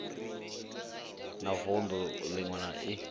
na vunḓu ḽiṅwe na i